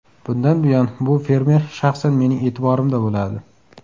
Bundan buyon bu fermer shaxsan mening e’tiborimda bo‘ladi.